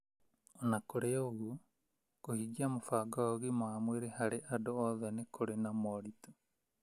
O na kũrĩ ũguo, kũhingia mũbango wa "Ũgima wa Mwĩrĩ harĩ Andũ Othe" nĩ kũrĩ na moritũ